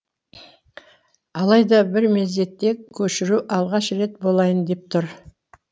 алайда бір мезетте көшіру алғаш рет болайын деп тұр